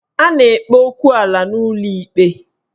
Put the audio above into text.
A na-ekpe okwu ala n'ụlọ ikpe